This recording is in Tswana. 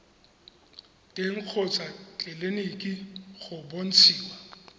teng kgotsa tleleniki go bontshiwa